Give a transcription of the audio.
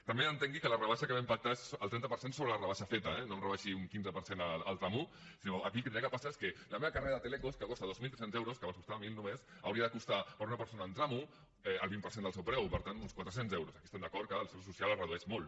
també entengui que la rebaixa que vam pactar és el trenta per cent sobre la rebaixa feta eh no em rebaixi un quinze per cent al tram un sinó que aquí el que hauria de passar és que la meva carrera de telecos que costa dos mil tres cents euros que abans en constava mil només hauria de costar per a una persona en tram un el vint per cent del seu preu per tant uns quatre cents euros aquí estem d’acord que al ser ús social es redueix molt